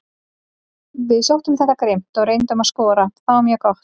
Við sóttum þetta grimmt og reyndum að skora, það var mjög gott.